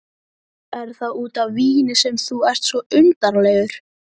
Er það út af víni sem þú ert svona undarlegur?